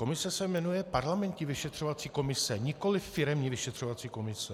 Komise se jmenuje parlamentní vyšetřovací komise, nikoliv firemní vyšetřovací komise.